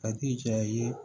A ti janya ye